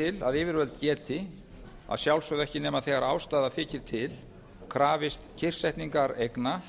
til að yfirvöld geti að sjálfsögðu ekki nema þegar ástæða þykir til krafist kyrrsetningar eigna